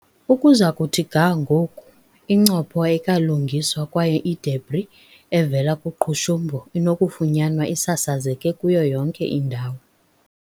Ukuza kuthi ga ngoku, incopho ayikalungiswa kwaye i-debris evela kuqhushumbo inokufunyanwa isasazeke kuyo yonke indawo.